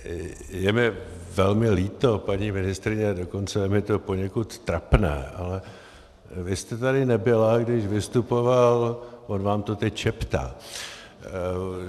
Je mi velmi líto, paní ministryně, dokonce je mi to poněkud trapné, ale vy jste tady nebyla, když vystupoval - on vám to teď šeptá .